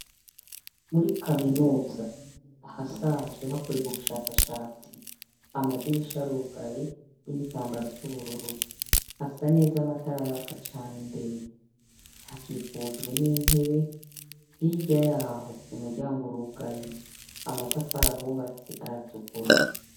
Muri kaminuza ahasanzwe hakorerwa ubushakashatsi, amadirisha arugaye n’igitambara c’ubururu hasa neza amatara araka cane imbere, hakikujwe n’intebe hirya yaho umuryango urugaye amatafari ahubatse aratukura.